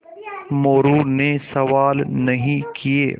मोरू ने सवाल नहीं किये